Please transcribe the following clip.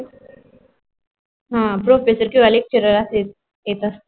हा professor कीव्हा lecture असे येत असते.